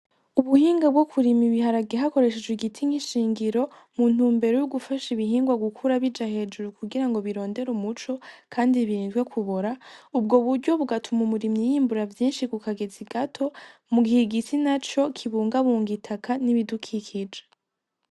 Ubuhinga bwo kurima ibiharage hakoreshejwe igiti nk'ishingiro mu ntumbero yo gufasha ibihingwa gukura bija hejuru kugira ngo birondere umuco kandi birindwe kubora, ubwo buryo bugatuma umurimyi yimbura vyinshi ku kagezi gato mu gihe igiti naco kibungabunga itaka n'ibudukikije.